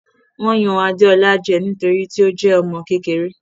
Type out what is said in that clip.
Wọ́n yan Adeola jẹ nítorí tí ó jẹ́ ọmọ kékeré.